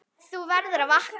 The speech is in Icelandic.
Þú verður að vakna.